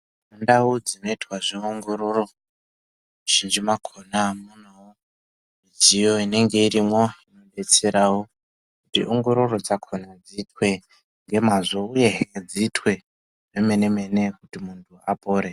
Ndau dzinoitwa zveongororo muzhinji makona mune mudziyo inenge arimwo inodetsera wo kuti ongororwa dzakona dziitwe ngemazvo uyehe dzitwe kwemene mene kuti muntu apone.